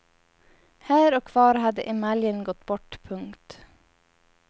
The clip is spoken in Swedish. Här och var hade emaljen gått bort. punkt